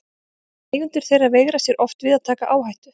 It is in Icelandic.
Eigendur þeirra veigra sér oft við að taka áhættu.